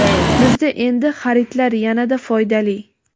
Bizda endi xaridlar yanada foydali!.